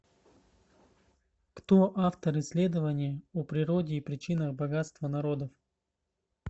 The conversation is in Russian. кто автор исследование о природе и причинах богатства народов